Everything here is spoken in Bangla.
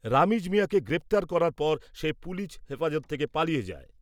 রমিজ মিঞাকে গ্রেপ্তার করার পর সে পুলিশ হেপাজত থেকে পালিয়ে যায়।